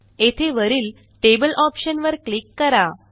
येथे वरील table option वर क्लिक करा